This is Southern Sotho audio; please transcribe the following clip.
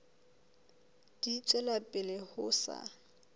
di tswela pele ho sa